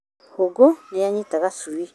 Hũngũnĩyanyita gacui